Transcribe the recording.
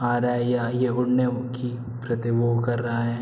आ रहा है यह उड़ने की प्रति वो कर रहा है।